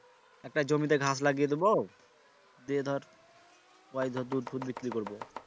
একটা জমিতে ঘাস লাগিয়ে দিব দিয়ে ধর ওই ধর দুধ পুধ বিক্রি করব